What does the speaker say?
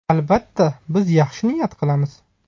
Albatta, biz yaxshi niyat qilamiz.